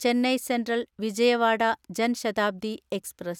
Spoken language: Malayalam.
Chennai central Vijayawada Jan Shatabdi express